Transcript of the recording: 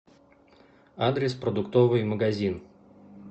адрес продуктовый магазин